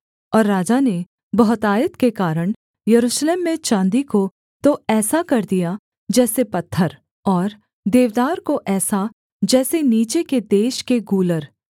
और राजा ने बहुतायत के कारण यरूशलेम में चाँदी को तो ऐसा कर दिया जैसे पत्थर और देवदार को ऐसा जैसे नीचे के देश के गूलर